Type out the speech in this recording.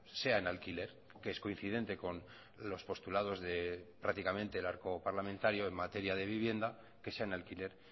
sea en alquiler que es coincidente con los postulados de prácticamente el arco parlamentario en materia de vivienda que sea en alquiler